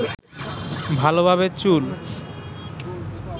ভালোভাবে চুল